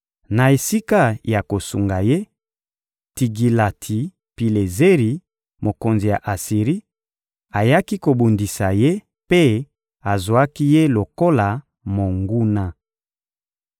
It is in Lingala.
Na esika ya kosunga ye, Tigilati-Pilezeri, mokonzi ya Asiri, ayaki kobundisa ye mpe azwaki ye lokola monguna.